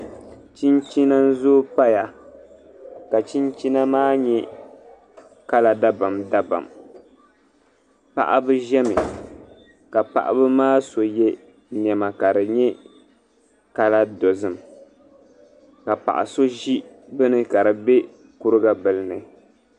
Chinchina n-zooi paya ka chinchina maa nyɛ kala dabamdabam. Paɣiba zami ka paɣiba maa so ye nɛma ka di nyɛ kala dozim ka paɣa so ʒi bini ka di be kuriga bila ni.